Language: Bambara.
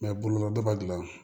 bunada ba dilan